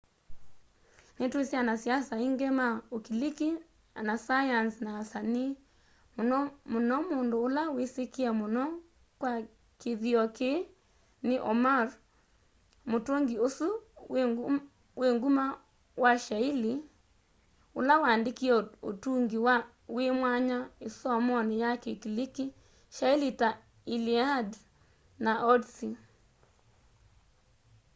nitwisi anasiasa aingi ma ukiliki anasayanzi na asanii muno muno mundu ula wisikie muno kwa kithio kii ni homer mutungi usu wi nguma wa shaili ula waandikie utungi wi mwanya isomoni ya kikiliki shaili ta iliad na odyssey